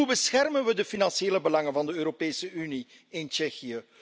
Hoe beschermen we de financiële belangen van de Europese Unie in Tsjechië?